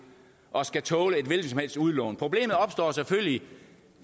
og skal tåle et hvilket som helst udlån problemet opstår selvfølgelig